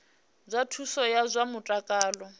zwa thuso ya zwa mutakalo